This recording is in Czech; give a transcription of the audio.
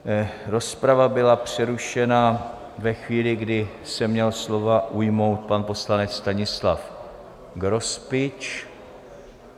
Rozprava byla přerušena ve chvíli, kdy se měl slova ujmout pan poslanec Stanislav Grospič.